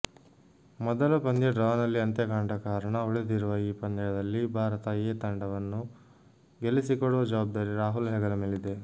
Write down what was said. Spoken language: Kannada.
ಮೊದಲ ಪಂದ್ಯ ಡ್ರಾನಲ್ಲಿ ಅಂತ್ಯಕಂಡ ಕಾರಣ ಉಳಿದಿರುವ ಈ ಪಂದ್ಯದಲ್ಲಿ ಭಾರತ ಎ ತಂಡವನ್ನು ಗೆಲ್ಲಿಸಿಕೊಡುವ ಜವಾಬ್ದಾರಿ ರಾಹುಲ್ ಹೆಗಲಮೇಲಿದೆ